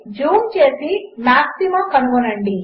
జూంచేసిమాక్సిమాకనుగొనండి